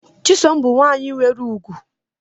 Chisom bu nwanyi nwere ugwu.